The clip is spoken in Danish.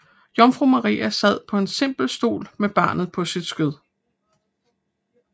Jomfru Maria sad på en simpel stol med barnet på sit skød